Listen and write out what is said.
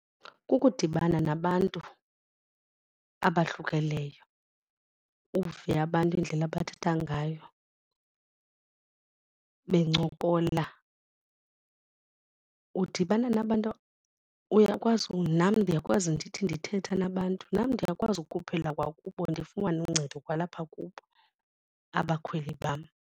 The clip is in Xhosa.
Kukudibana nabantu abahlukileyo uve abantu indlela abathetha ngayo bencokola. Udibana nabantu, uyakwazi nam ndiyakwazi ndithi ndithetha nabantu nam ndiyakwazi ukukhuphela kwakubo ndifumane uncedo kwalapha kubo abakhweli bam.